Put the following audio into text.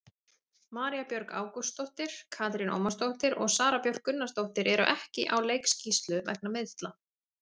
María Björg Ágústsdóttir, Katrín Ómarsdóttir og Sara Björk Gunnarsdóttir eru ekki á leikskýrslu vegna meiðsla.